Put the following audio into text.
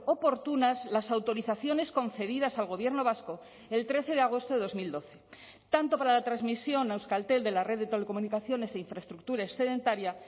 oportunas las autorizaciones concedidas al gobierno vasco el trece de agosto de dos mil doce tanto para la transmisión a euskaltel de la red de telecomunicaciones e infraestructura excedentaria